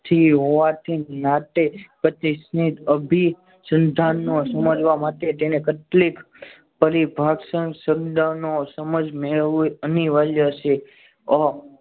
જે હોવાથી નાથે પચીસમી અભી ધંધાની સમજવા માટે તેને કેટલીક પરી ભાષાનો શબ્દ સમજવો મેળવવો અનિવાર્ય છે.